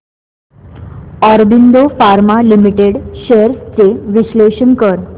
Aurobindo pharma limited shares चे विश्लेषण कर